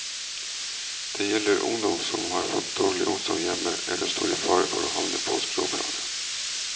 Det gjelder ungdom som har fått dårlig omsorg hjemme eller står i fare for å havne på skråplanet.